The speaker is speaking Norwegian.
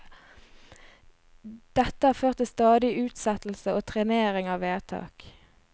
Dette har ført til stadig utsettelse og trenering av vedtak.